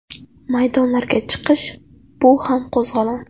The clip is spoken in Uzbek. Maydonlarga chiqish bu ham qo‘zg‘olon.